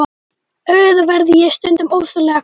Auðvitað verð ég stundum ofsalega glöð.